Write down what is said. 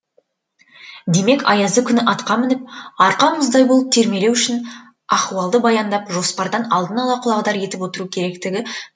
демек аязы күні атқа мініп арқа мұздай болып терлемеу үшін ахуалды баяндап жоспардан алдын ала құлағдар етіп отыру керектігі